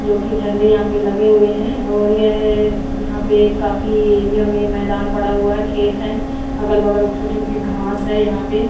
जो की झंडे यहां पे लगे हुए हैं और यह यहां पे काफी एरिया में मैदान पड़ा हुआ है खेत है अगल-बगल छोट-मोटे घांस है यहां पे।